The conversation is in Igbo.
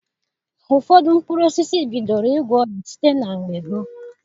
Ụfọdụ mkpụrụ osisi bidoro ịgwọ ọrịa site na mgbe gboo.